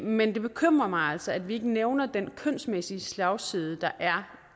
men det bekymrer mig altså at vi ikke nævner den kønsmæssige slagside der er